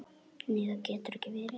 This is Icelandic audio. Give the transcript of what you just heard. Nei það getur ekki verið.